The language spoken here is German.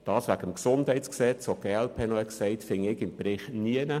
Bezüglich des GesG finde ich keine Ausführungen im Bericht.